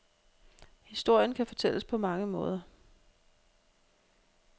Historien kan fortælles på mange måder.